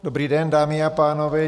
Dobrý den, dámy a pánové.